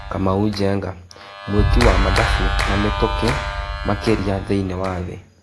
Kamau Njenga:Mwĩ ki wa mathabu na mĩ tũkĩ makĩ ria thĩ iniĩ wa thĩ .